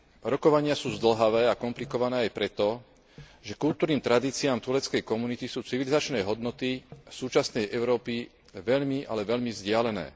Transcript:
Rokovania sú zdĺhavé a komplikované aj preto, že kultúrnym tradíciám tureckej komunity sú civilizačné hodnoty súčasnej Európy veľmi, ale veľmi vzdialené.